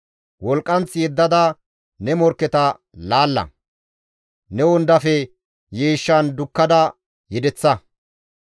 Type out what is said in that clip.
Wolqqanth yeddada ne morkketa laalla! Ne wondafe yiishshan dukkada yedeththa!